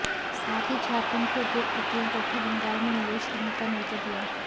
साथ ही झारखंड के उद्योगपतियों को भी बंगाल में निवेश करने का न्योता दिया